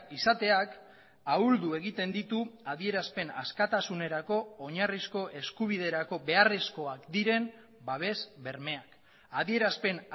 izateak ahuldu egiten ditu adierazpen askatasunerako oinarrizko eskubiderako beharrezkoak diren babes bermeak adierazpen